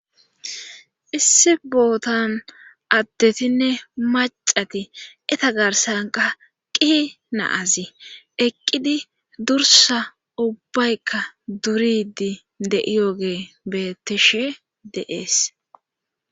issi bootan addetinne macati eta garsan qaqqi naazi eqqidi dursa ubbaykka duridi de7iyooge beettishe deees